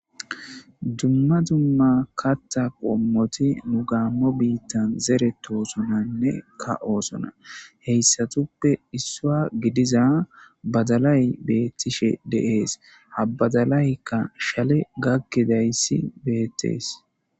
Dumma dumma katta qommoti nu gaammo biittan zere toosonanne ka oosona heyssatuppe issua gidiza badalay beettishe deees habadalaykka shale gakkidayssi beetles.